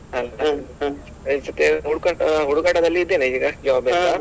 ಈ ಸರ್ತಿ ಹುಡುಕಾಟ ಹುಡುಕಾಟದಲ್ಲಿ ಇದ್ದೇನೆ ಈಗ job ಎಲ್ಲ.